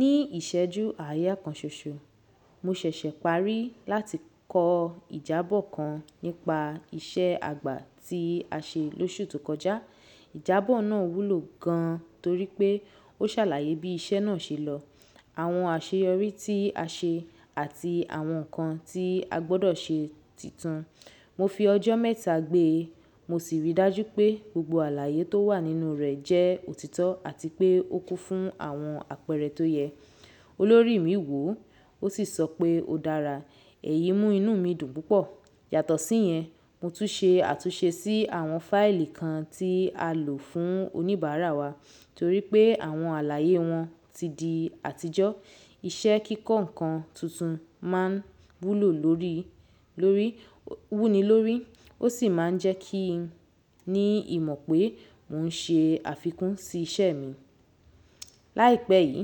Ní ìṣẹ́jú aya kan ṣoṣo, mo ṣẹ̀ṣẹ̀ parí láti kọ ìjábọ̀ kan nípa iṣẹ́ àgbà tí a ṣe lóṣù tó kọjá. Ìjábọ̀ náà wúlò gan torí pé ó ṣàlàyé bí iṣẹ́ náà ṣe lọ, àwọn àṣeyọrí tí a ṣe àti àwọn nǹkan tí a gbọ́dọ̀ ṣe tuntun. Mo fi ọjọ́ mẹ́ta gbé e mo sì rí i dájú pé gbogbo àlàyé tó wà nínú rẹ̀ jẹ́ òtítọ́ àti pé ó kún fún àwọn àpẹẹrẹ tó yẹ. Olórí mi wò ó sì sọ pé ó dára. Ẹ̀yí mú inú mi dùn púpọ̀. Yàtọ̀ sí yẹn, mo tún ṣe àtúnṣe sí àwọn fáìlì kan tí a lò fún oníbàárà wa torí pé àwọn àlàyé wọn ti di àtijọ́. Iṣẹ́ kíkọ́ nǹkan tuntun máa ń wúlò lórí, lórí, wúni lórí ó sì máa ń jẹ́ kí n ní ìmọ̀ pé mò ń ṣe àfikún sí iṣẹ́ mi. Láìpẹ́ yìí,